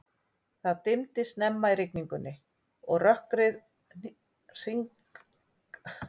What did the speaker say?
Það dimmdi snemma í rigningunni, og rökkrið hringaði sig í kringum okkur við arininn.